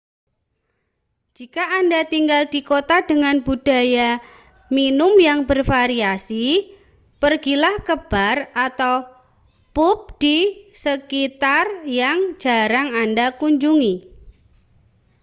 jika anda tinggal di kota dengan budaya minum yang bervariasi pergilah ke bar atau pub di sekitar yang jarang anda kunjungi